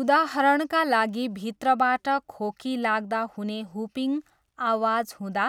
उदाहरणका लागि भित्रबाट खोकी लाग्दा हुने 'हुपिङ' आवाज हुँदा